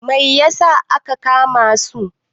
Mai yasa aka kama su?